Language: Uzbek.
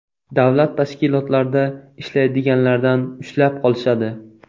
Davlat tashkilotlarida ishlaydiganlardan ushlab qolishadi.